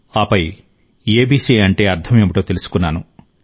ఆపై ఏబీసీ అంటే అర్థం ఏమిటో తెలుసుకున్నాను